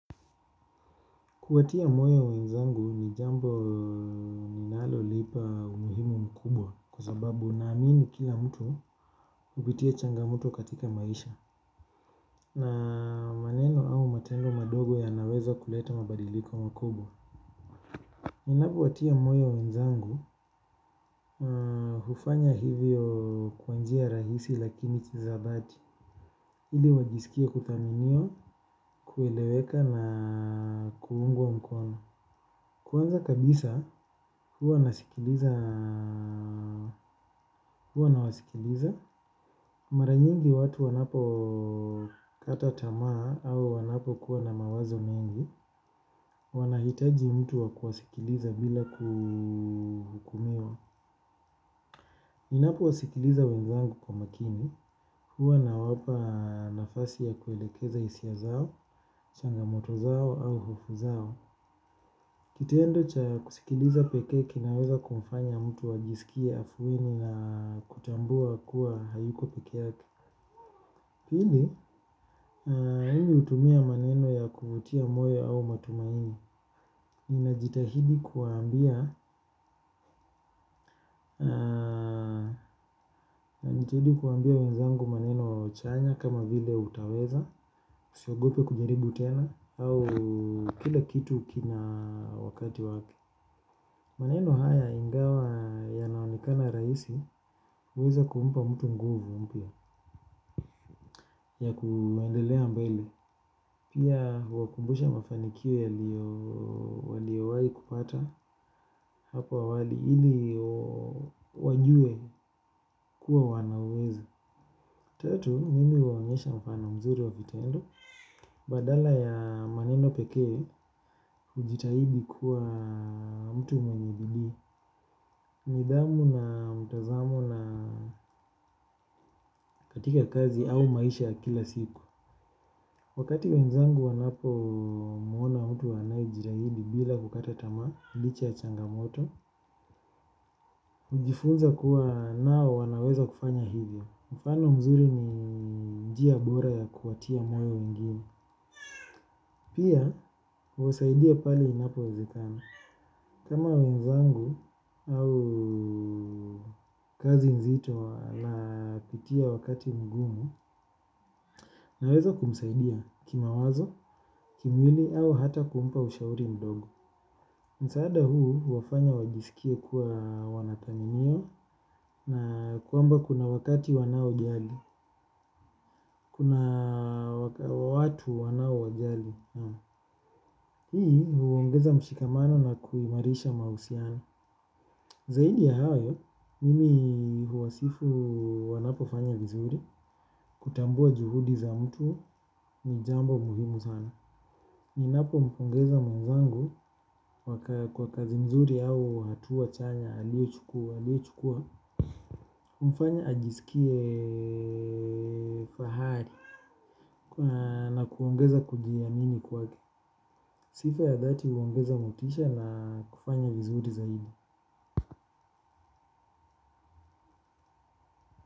Kuwatia moyo wenzangu ni jambo ninalo nipa umuhimu mkubwa kwa sababu naamini kila mtu hupitia changamoto katika maisha. Na maneno au matendo madogo yanaweza kuleta mabadiliko makubwa. Ninapowatia moyo wenzangu, hufanya hivyo kwa njia rahisi lakini kihisabati. Ili wajisikie kuthaminiwa, kueleweka na kuungwa mkono. Kwanza kabisa huwa nasikiliza nawasikiliza. Mara nyingi watu wanapo kata tamaa au wanapokuwa na mawazo mengi, wanahitaji mtu wa kuwasikiliza bila kuhukumiwa. Ninapo wasikiliza wenzangu kwa makini, huwa nawapa nafasi ya kuelekeza hisia zao, changamoto zao au hofu zao. Kitendo cha kusikiliza pekee kinaweza kumfanya mtu ajisikie afueni na kutambua kuwa hayuko peke yake. Pili, mimi utumia maneno ya kuvutia moyo au matumaini. Ninajitahidi kuwaambia wenzangu maneno chanya kama vile utaweza usiogope kujaribu tena au kila kitu kina wakati wake. Maneno haya ingawa yanaonekana rahisi huweza kumpa mtu nguvu mpya ya kuendelea mbele. Pia huwakumbusha mafanikio yaliyowai kupata hapo awali ili wajue kuwa wanaweza. Tatu, mimi huwaonyesha mfano mzuri wa vitendo. Badala ya maneno pekee hujitahidi kuwa mtu mwenye bidii nidhamu na mtazamo na katika kazi au maisha ya kila siku. Wakati wenzangu wanapomwona mtu anayejitahidi bila kukata tamaa licha ya changamoto ujifunza kuwa nao wanaweza kufanya hivyo. Mfano mzuri ni njia bora ya kuwatia moyo wengine. Pia, huwasaidia pale inapowezekana. Kama wenzangu au kazi nzito na kutia wakati mgumu naweza kumsaidia kimawazo, kimwili au hata kumpa ushauri mdogo. Msaada huu huwafanya wajisikie kuwa wanathaminiwa na kwamba kuna wakati wanaojali. Kuna watu wanau wajali. Hii huwaongeza mshikamano na kuimarisha mahusiano. Zaidi ya hayo, mimi huwasifu wanapofanya vizuri, kutambua juhudi za mtu ni jambo muhimu sana. Ninapompongeza mwenzangu kwa kazi nzuri au hatua chanya, aliyochukua, aliyochukua humfanya ajisikie fahari na kuongeza kujiamini kwake. Sifa ya dhati huongeza motisha na kufanya vizuri zaidi.